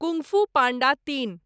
kung fu panda तीन